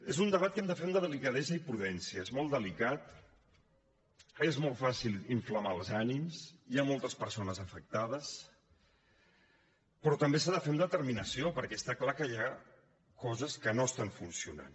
és un debat que hem de fer amb delicadesa i prudència és molt delicat és molt fàcil inflamar els ànims hi ha moltes persones afectades però també s’ha de fer amb determinació perquè està clar que hi ha coses que no estan funcionant